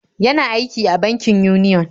Yana aiki a bankin Union.